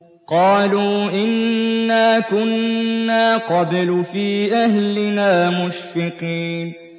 قَالُوا إِنَّا كُنَّا قَبْلُ فِي أَهْلِنَا مُشْفِقِينَ